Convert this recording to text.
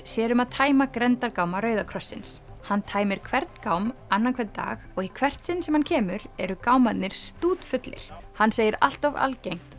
sér um að tæma grenndargáma Rauða krossins hann tæmir hvern gám annan hvern dag og í hvert sinn sem hann kemur eru gámarnir stútfullir hann segir allt of algengt